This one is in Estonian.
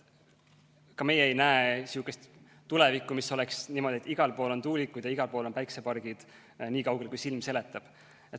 Ka meie ei näe ette sellist tulevikku, et igal pool on tuulikud ja igal pool on päiksepargid, nii kaugele kui silm seletab.